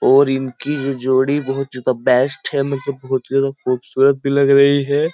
और इनकी जो जोड़ी बहुत ज्यादा बेस्ट है मतलब बहुत ज्यादा खूबसूरत भी लग रही है।